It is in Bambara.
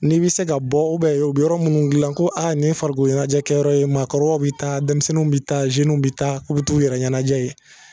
Ni bɛ se ka bɔ u bɛ yɔrɔ minnu dilan ko nin ye farikolo ɲɛnajɛkɛyɔrɔ ye maakɔrɔbaw bɛ taa, denmisɛnninw bɛ taa, bɛ taa k'u bi t'u yɛrɛ ɲɛnajɛ yen